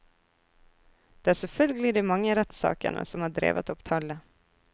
Det er selvfølgelig de mange rettssakene som har drevet opp tallet.